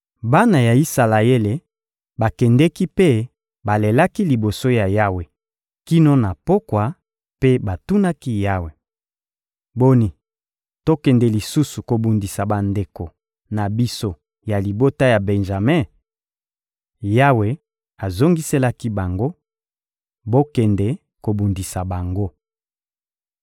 Bana ya Isalaele bakendeki mpe balelaki liboso ya Yawe kino na pokwa, mpe batunaki Yawe: — Boni, tokende lisusu kobundisa bandeko na biso ya libota ya Benjame? Yawe azongiselaki bango: — Bokende kobundisa bango.